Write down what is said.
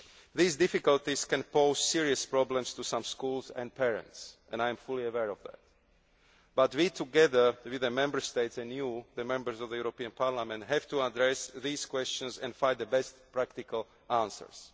so on. These difficulties can pose serious problems to some schools and parents. I am fully aware of that but we, together with the Member States, and you, the Members of the European Parliament, have to address those questions and find the best practical